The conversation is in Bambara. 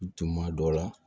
Tuma dɔ la